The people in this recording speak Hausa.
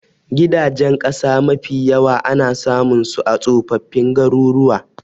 Gidajen ƙasa mafi yawa ana samun su a tsofaffin garuruwa